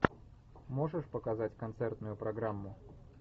можешь показать концертную программу